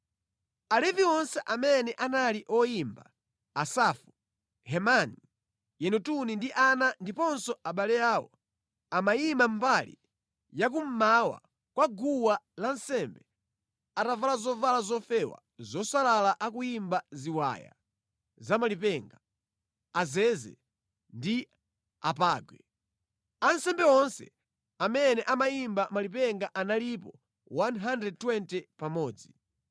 Alevi onse amene anali oyimba: Asafu, Hemani, Yedutuni ndi ana ndiponso abale awo, amayima mbali ya kummawa kwa guwa lansembe atavala zovala zofewa zosalala akuyimba ziwaya zamalipenga, azeze ndi apangwe. Ansembe onse amene amayimba malipenga analipo 120 pamodzi.